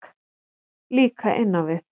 Líka inn á við.